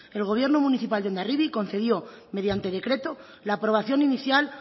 el gobierno municipal de hondarribia concedió mediante decreto la aprobación inicial